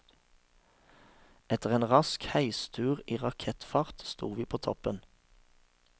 Etter en rask heistur i rakettfart, stod vi på toppen.